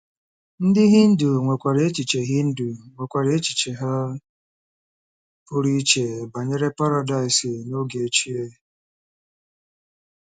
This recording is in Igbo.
Ndị Hindu nwekwara echiche Hindu nwekwara echiche ha pụrụ iche banyere paradaịs n’oge ochie.